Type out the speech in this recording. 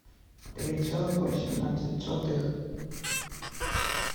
три целых восемнадцать сотых